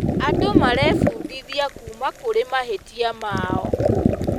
Andũ marebundithia kuuma kũrĩ mahĩtia mao.